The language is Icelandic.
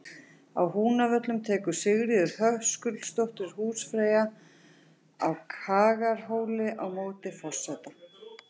Á Húnavöllum tekur Sigríður Höskuldsdóttir húsfreyja á Kagaðarhóli á móti forseta.